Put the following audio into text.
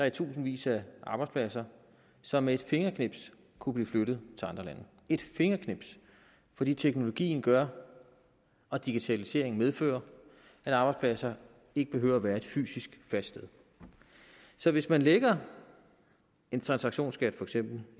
i tusindvis af arbejdspladser som med et fingerknips kunne blive flyttet til andre lande et fingerknips fordi teknologien gør og digitaliseringen medfører at arbejdspladser ikke behøver at være et fysisk fast sted så hvis man lægger en transaktionsskat for eksempel